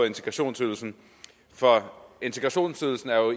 integrationsydelsen for integrationsydelsen er jo